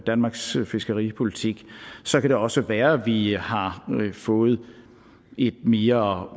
danmarks fiskeripolitik så kan det også være at vi har fået et mere